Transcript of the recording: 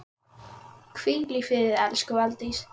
Hvíl í friði elsku Valdís.